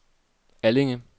Allinge